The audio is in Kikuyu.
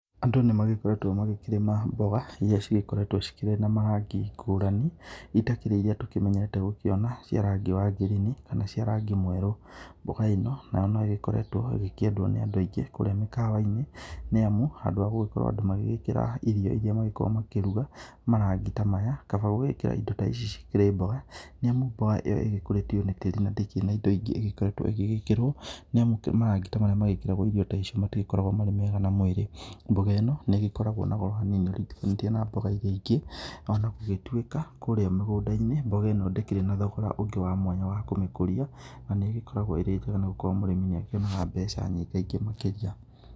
Andũ nĩ magĩkoretwo magĩkĩrĩma mboga irĩa cigĩkoretwo cikĩrĩ na marangi ngũrani ngũrani itakĩrĩ iria tũkĩmenyerete kũona cia rangi wa ngirini kana cia rangi mwerũ, mboga ĩno nayo no ĩgĩkoretwo ĩkĩendwo nĩ andũ aingĩ kũrĩa mĩkawainĩ níĩmu handũ ha andũ gũkorwo magĩgĩkĩra irio irĩa makoragwo makĩruga marangi ta maya kaba gũgĩkĩra indo ta ici cikĩrĩ mboga nĩamu mboga ĩyo ĩgĩkũratio nĩ tĩri na ndĩkĩrĩ na indo ingĩ ĩgĩkoretwo igĩgĩkĩrwo nĩamu marangi ta marĩa mekĩragwo irio ta icio matikoragwo marĩ mega na mwĩrĩ ,mboga ĩno nĩ ĩgĩkoragwo na goro hanini ĩriganithĩtwo na mboga iria ingĩ ona gũgĩtũika kũrĩa mĩgũnda-inĩ mboga ĩno ndĩkĩrĩ na thogora ũngĩ wamwatha wakũmĩkũria na nĩ ĩgĩkoragwo ĩrĩ njenga nĩgũkorwo mũrĩmĩ nĩ akĩonaga mbeca nyingaingĩ makĩria.